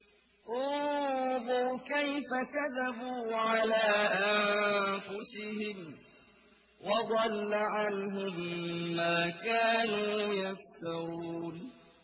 انظُرْ كَيْفَ كَذَبُوا عَلَىٰ أَنفُسِهِمْ ۚ وَضَلَّ عَنْهُم مَّا كَانُوا يَفْتَرُونَ